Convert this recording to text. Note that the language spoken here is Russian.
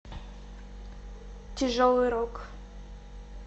тяжелый рок